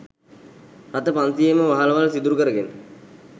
රථ පන්සීයේම වහලවල් සිදුරු කරගෙන